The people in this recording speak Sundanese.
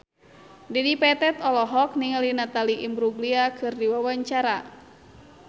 Dedi Petet olohok ningali Natalie Imbruglia keur diwawancara